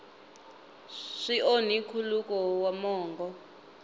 swi onhi nkhuluko wa mongo